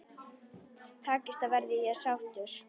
Takist það verð ég sáttur.